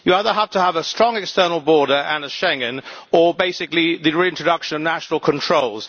You either have to have a strong external border and a Schengen or, basically, the reintroduction of national controls.